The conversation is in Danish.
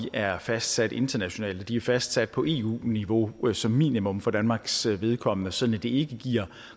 er fastsat internationalt de er fastsat på eu niveau som et minimum for danmarks vedkommende sådan at det ikke giver